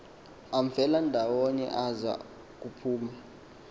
amfelandawonye aza kuphuma